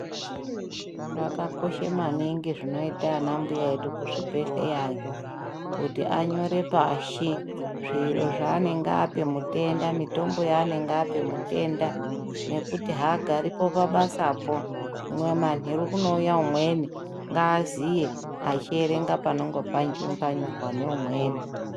Zvakakosha maningi zvinoite anambuya edu kuzvibhehleyayo kuti anyore pashi zviro zvanenge ape mutenda, mitombo yaanenge apa mutenda nekuti haagaripo pabasapo hino manheru kunouya umweni ngaaziye achierenga panonga panyorwa neumweni.